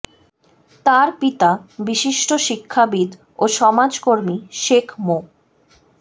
তার পিতা বিশিষ্ট শিক্ষাবিদ ও সমাজ কর্মী শেখ মো